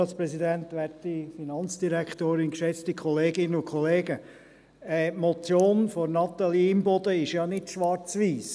Die Motion von Natalie Imboden ist ja nicht schwarz-weiss.